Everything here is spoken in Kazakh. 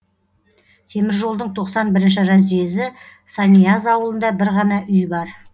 теміржолдың тоқсан бірінші разъезі санияз ауылында бір ғана үй бар